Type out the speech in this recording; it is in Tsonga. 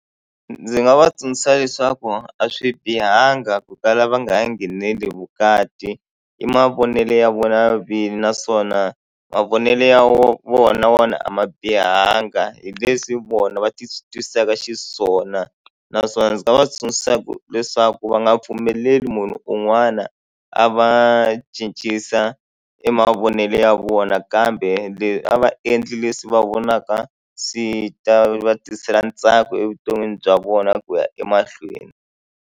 Ndzi nga va tsundzuxa leswaku a swi bihanga ku kala va nga ngheneleli vukati i mavonelo ya vona vini naswona mavonelo ya vona wona a ma bihanga hi leswi vona va ti twisaka xiswona naswona ndzi nga va tsundzuxa leswaku va nga pfumeleli munhu un'wana a va cincisa e mavonelo ya vona kambe le a va endli leswi va vonaka swi ta va tisela ntsako evuton'wini bya vona ku ya emahlweni.